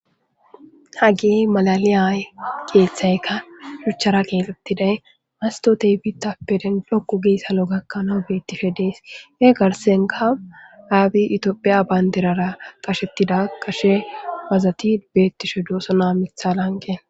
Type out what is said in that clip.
hagey malaliyay keeththaykka shuchchara keexettiday mastotey bita peden lokku giy salo gakkana beettishe dees ee garsenka aabi itophiya baynderara qashettida qashe wazati beettishe duosona mithala anqe